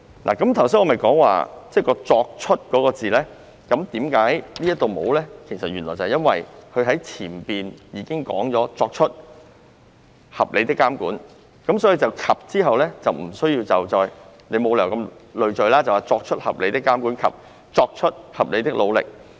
我剛才提到"作出"這兩個字，為何其中一項條文沒有這兩個字？因為前文已經提到"作出合理的監管"，所以在"及"字之後沒有理由那麼累贅，寫成"作出合理的監管及作出合理的努力"。